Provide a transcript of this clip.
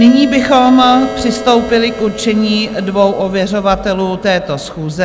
Nyní bychom přistoupili k určení dvou ověřovatelů této schůze.